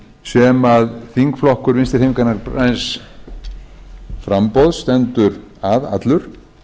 laga sem þingflokkur vinstri hreyfingarinnar græns framboðs stendur að allur